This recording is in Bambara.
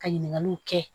Ka ɲininkaliw kɛ